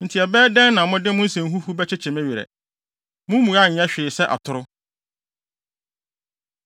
“Enti ɛbɛyɛ dɛn na mode mo nsɛnhunu bɛkyekye me werɛ? Mo mmuae nyɛ hwee sɛ atoro!”